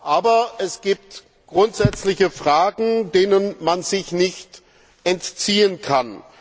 Aber es gibt grundsätzliche Fragen, denen man sich nicht entziehen kann.